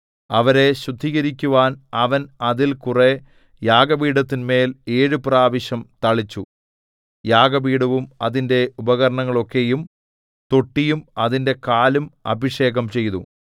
അവരെ ശുദ്ധീകരിക്കുവാൻ അവൻ അതിൽ കുറെ യാഗപീഠത്തിന്മേൽ ഏഴു പ്രാവശ്യം തളിച്ചു യാഗപീഠവും അതിന്റെ ഉപകരണങ്ങളൊക്കെയും തൊട്ടിയും അതിന്റെ കാലും അഭിഷേകം ചെയ്തു